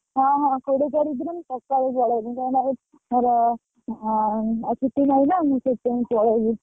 ହଁ କୋଡିଏ ତାରିଖ ଦିନ ସଖାଳୁ ପଳେଇମି କାଇଁ ନା ମୋର ଆଉ ଛୁଟି ନାହିଁ ନା ଆଉ ସେଇଥିପାଇଁକି ପଳେଇମି।